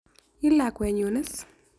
Ii lakwenyu is?